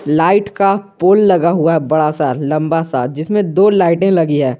Light का pole लगा हुआ बड़ा सा लंबा सा जिसमें दो लाइटें लगी है।